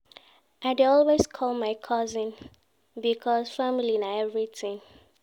I dey always call my cousins because family na everytin